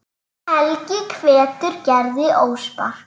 Helgi hvetur Gerði óspart.